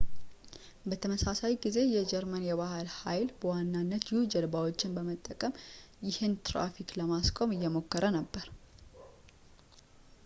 በተመሳሳይ ጊዜ የጀርመን የባህር ኃይል በዋናነት u-ጀልባዎችን በመጠቀም ይህንን ትራፊክ ለማስቆም እየሞከረ ነበር